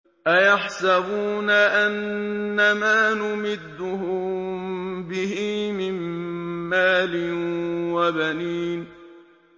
أَيَحْسَبُونَ أَنَّمَا نُمِدُّهُم بِهِ مِن مَّالٍ وَبَنِينَ